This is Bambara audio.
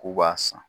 K'u b'a san